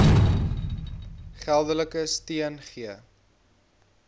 geldelike steun gee